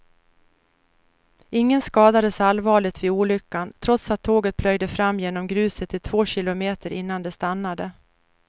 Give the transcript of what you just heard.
Ingen skadades allvarligt vid olyckan, trots att tåget plöjde fram genom gruset i två kilometer innan det stannade.